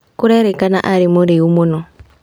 Kũrerĩkana arĩ mũrĩu mũno.